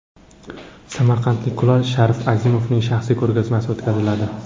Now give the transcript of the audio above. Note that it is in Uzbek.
Samarqandlik kulol Sharif Azimovning shaxsiy ko‘rgazmasi o‘tkaziladi.